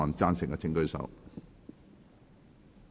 贊成的請舉手。